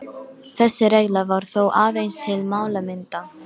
Þessi regla var þó aðeins til málamynda.